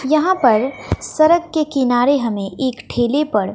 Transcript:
यहां पर सरक के किनारे हमें एक ठेले पर--